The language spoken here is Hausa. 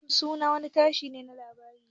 NTA sunan wani Tasha na labari ne.